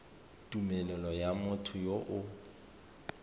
tumelelo ya motho yo o